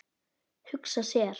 Hugsa sér.